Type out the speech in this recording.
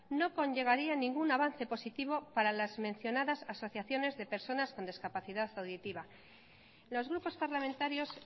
no conllevaría ningún avance positivo para las mencionadas asociaciones de personascon discapacidad auditiva los grupos parlamentarios